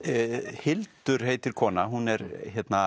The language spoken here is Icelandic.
Hildur heitir kona hún er